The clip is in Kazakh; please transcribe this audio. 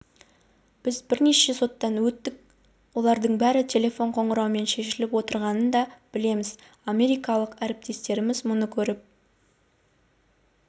біз бірнеше соттан өттік олардың бәрі телефон қоңырауымен шешіліп отырғанын да білеміз америкалық әріптестеріміз мұны көріп